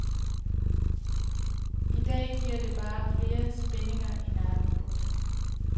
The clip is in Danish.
Idag giver det bare flere spændinger i nakken. punktum